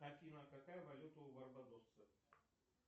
афина какая валюта у барбадоса